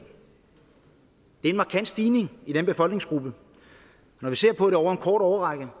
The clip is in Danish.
det er en markant stigning i den befolkningsgruppe når vi ser på det over en kort årrække er